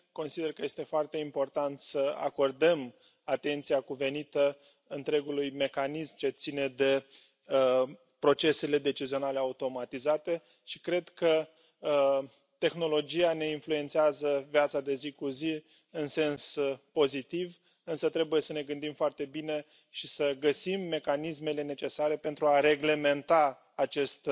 Consider că este foarte important să acordăm atenția cuvenită întregului mecanism ce ține de procesele decizionale automatizate și cred că tehnologia ne influențează viața de zi cu zi în sens pozitiv, însă trebuie să ne gândim foarte bine și să găsim mecanismele necesare pentru a reglementa acest